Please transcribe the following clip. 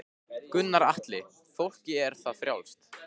Gunnar Atli: Fólki er það frjálst?